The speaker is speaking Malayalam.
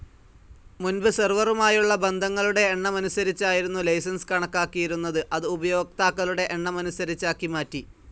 മുൻപ്, സെർവറുമായുള്ള ബന്ധങ്ങളുടെ എണ്ണമനുസരിച്ചായിരുന്നു ലൈസൻസ്‌ കണക്കാക്കിയിരുന്നത്, അത് ഉപയോക്താക്കളുടെ എണ്ണമനുസരിച്ചാക്കി മാറ്റി.